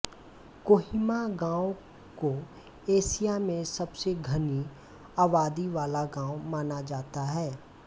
कोहिमा गांव को एशिया में सबसे घनी आबादी वाला गांव माना जाता है